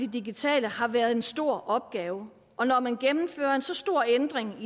digitale har været en stor opgave og når man gennemfører så stor en ændring